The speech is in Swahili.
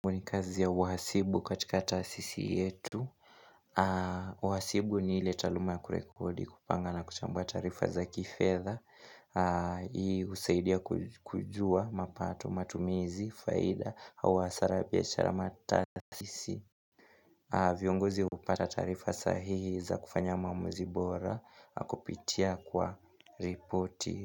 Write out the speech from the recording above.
Mwenye kazi ya uhasibu katika taasisi yetu Wahasibu ni ili taluma ya kurekodi kupanga na kuchambua tarifa za kifedha Hii husaidia kujua mapato matumizi, faida, au hasara ya biashara matasisi viongozi upata tarifa sahihi za kufanya mamuzi bora, kupitia kwa ripoti.